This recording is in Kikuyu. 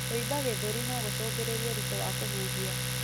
Kũimba gĩthũri no gũcungĩrĩrie ũritũ wa kũhuhia.